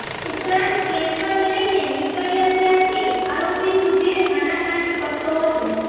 ઉપરાંત કેશવાન લઇને નીકળ્યાં ત્યારથી આરોપી સુધીર આનાકાની કરતો હતો